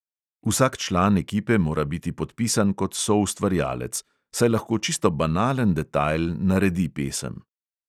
Vsak član ekipe mora biti podpisan kot soustvarjalec, saj lahko čisto banalen detajl naredi pesem.